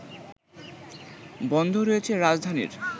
বন্ধ রয়েছে রাজধানীর